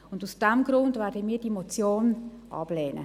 Deshalb werden wir diese Motion ablehnen.